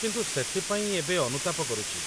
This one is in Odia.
କିନ୍ତୁ, ସେଥିପାଇଁ ଏବେ ଅନୁତାପ କରୁଚି